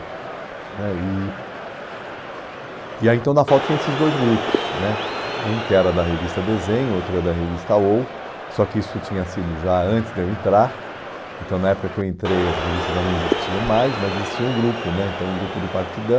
né e e aí então na FAU tinha esses dois grupos né, um que era da revista Desenho, outro era da revista OU, só que isso tinha sido já antes de eu entrar, então na época que eu entrei as revistas já não existiam mais, mas existia um grupo né, o grupo do Partidão,